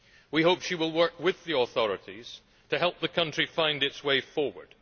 We hope she will work with the authorities to help the country find its way forward.